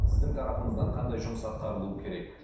сіздің тарапыңыздан қандай жұмыс атқарылуы керек